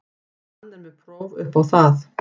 Hann er með próf upp á það.